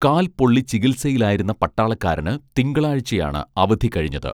കാൽപൊള്ളി ചികിത്സയിലായിരുന്ന പട്ടാളക്കാരന് തിങ്കളാഴ്ച്ചയാണ് അവധി കഴിഞ്ഞത്